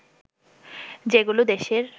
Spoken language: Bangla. যেগুলো দেশের